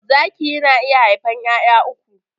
Zaki yana iya haifan 'ya'ya uku.